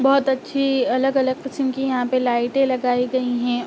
बहोत अच्छी अलग-अलग किस्म की यहाँ पे लाइटें लगाई गई है।